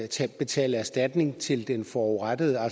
til at betale erstatning til den forurettede